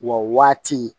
Wa waati